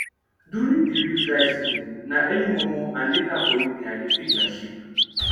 during the real dry season na early mor mor and later for evening i de feed my sheep